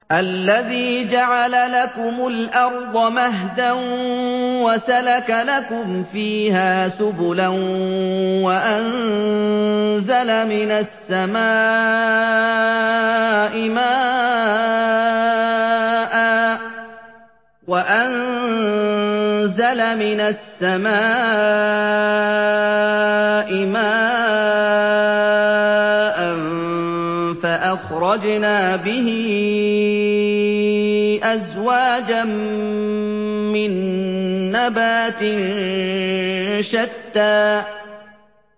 الَّذِي جَعَلَ لَكُمُ الْأَرْضَ مَهْدًا وَسَلَكَ لَكُمْ فِيهَا سُبُلًا وَأَنزَلَ مِنَ السَّمَاءِ مَاءً فَأَخْرَجْنَا بِهِ أَزْوَاجًا مِّن نَّبَاتٍ شَتَّىٰ